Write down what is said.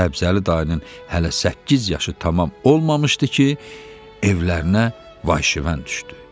Səbzəli dayının hələ səkkiz yaşı tamam olmamışdı ki, evlərinə vay-şiven düşdü.